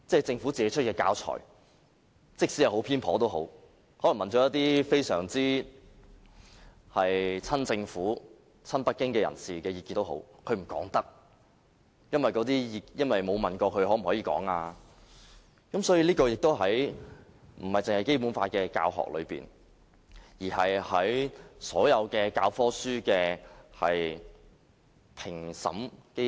政府出版的教材即使十分偏頗，可能曾詢問一些親政府、親北京人士的意見，但不能說，因為沒有問過他們能否公開，所以，這不僅關乎《基本法》的教學，而是關乎所有教科書的評審機制。